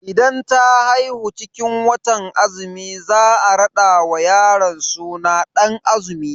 Idan ta haihu cikin watan azumi za a rada wa yaron suna Dan azumi.